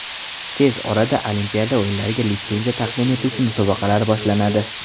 Tez orada Olimpiada o‘yinlariga litsenziya taqdim etuvchi musobaqalar boshlanadi.